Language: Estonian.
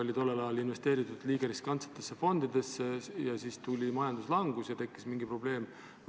Kas tollel ajal sai investeeritud liiga riskantsetesse fondidesse ja siis tuli majanduslangus ja tekkis mingi probleem?